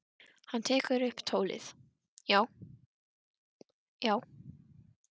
Hann tekur upp tólið: Já, já.